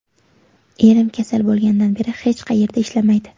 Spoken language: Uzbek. Erim kasal bo‘lgandan beri hech qayerda ishlamaydi.